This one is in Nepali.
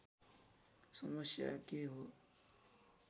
समस्या के हो